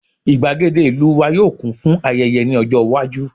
igbagede ìlú wa yíò kún fún ayẹyẹ ní ọjọ iwaju